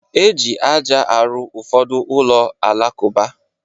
E ji aja arụ ụfọdụ ụlọ alakụba.